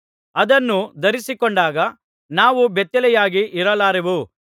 ಅದನ್ನು ಧರಿಸಿಕೊಂಡಾಗ ನಾವು ಬೆತ್ತಲೆಯಾಗಿ ಇರಲಾರೆವು